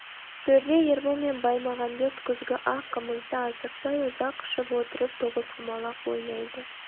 төрде ербол мен баймағамбет күзгі ақ қымызды асықпай ұзақ ішіп отырып тоғызқұмалақ ойнайды